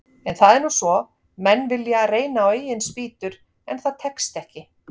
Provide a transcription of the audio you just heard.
En það er nú svo, menn vilja reyna á eigin spýtur, en það tekst ekki.